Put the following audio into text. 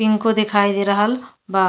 पिंको देखाई दे रहल बा।